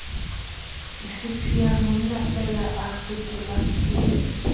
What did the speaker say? ispia monnafeela a kwetelwe ke